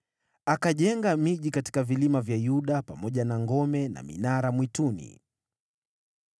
Akajenga miji katika vilima vya Yuda pamoja na ngome na minara mwituni.